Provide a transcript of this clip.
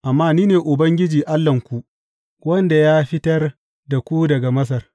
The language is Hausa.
Amma ni ne Ubangiji Allahnku, wanda ya fitar da ku daga Masar.